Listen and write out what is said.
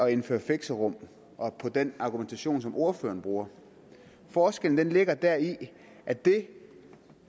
at indføre fixerum og den argumentation som ordføreren bruger forskellen ligger deri at det